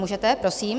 Můžete, prosím.